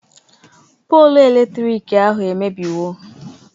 Polu eletrik ahụ emebiwo